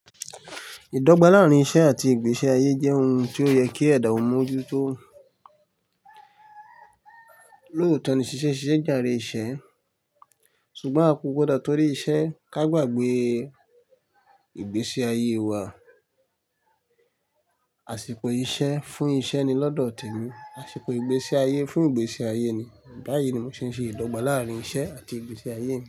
Ìdọ́gba láàárín iṣẹ́ àti ìgbésí ayé jẹ́ ohun tí ó yẹ kí ẹ̀dà ó mójú tó lóòótọ́ ni ṣiṣẹ́ ṣiṣẹ́ jàre iṣẹ́ ṣùgbọ́n a kò gbọdọ̀ torí iṣẹ́ ká gbàgbé ìgbésí ayé wa. Àṣìkò iṣẹ́ fún iṣẹ́ ni lọ́dọ̀ tèmi, àṣìkò ìgbésí ayé fún ìgbésí ayé ni. Báyìí ni mo ṣe ń ṣe ìdọ́gba láàárín iṣẹ́ àti ìgbésí ayé mi.